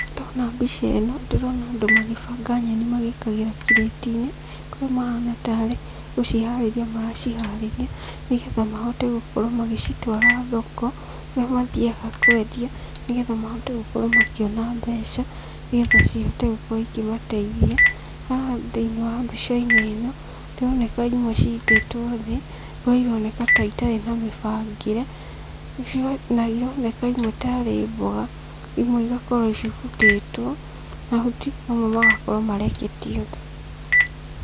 Ndona mbica ĩno ndĩrona andũ magibanga nyeni magĩkagĩra kirĩti-inĩ, kũrĩ mahana tarĩ gũciharĩria maraciharĩria, nĩgetha mahote gũkorwo magĩcitwara thoko, kũrĩa mathiaga kwendia, nĩgetha mahote gũkorwo makĩona mbeca, nĩgetha cihote gũkorwo ĩkĩmateithia. Haha thĩiniĩ wa mbica-inĩ ĩno, nĩironeka imwe ciitĩtwo thĩ kũrĩa ironeka itarĩ na mĩbangĩre, na ironeka imwe tarĩ mboga, imwe igakorwo cibutĩtwo mahuti mamwe magakorwo mareketio thĩ.